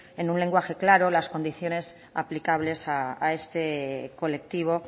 en un lenguaje claro las condiciones aplicables a este colectivo